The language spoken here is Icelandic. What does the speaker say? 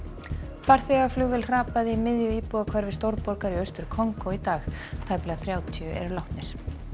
farþegaflugvél hrapaði í miðju íbúðahverfi stórborgar í Austur Kongó í dag tæplega þrjátíu eru látnir